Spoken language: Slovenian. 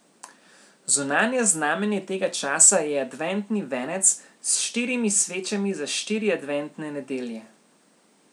Zunanje znamenje tega časa je adventni venec s štirimi svečami za štiri adventne nedelje.